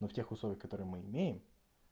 в тех условиях которые мы имеем